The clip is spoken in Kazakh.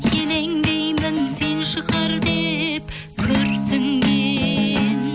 елеңдеймін сен шығар деп күрсінген